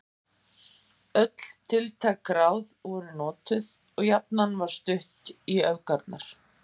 Öll tiltæk ráð voru notuð og jafnan var stutt í öfgarnar.